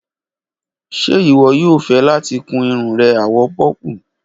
Ṣe iwọ yoo fẹ lati kun irun rẹ àwọ̀ pọ́pù?